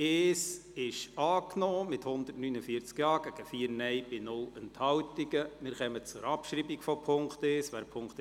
Sie haben mit 58 Ja- zu 93 Nein-Stimmen bei 2 Enthaltungen die Abschreibung der Ziffer 1 abgelehnt.